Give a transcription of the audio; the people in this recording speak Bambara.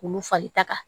K'olu fari taga